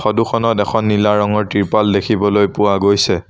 Photo খনত এখন নীলা ৰঙৰ ত্ৰিপাল দেখিবলৈ পোৱা গৈছে।